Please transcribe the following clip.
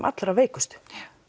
allra veikustu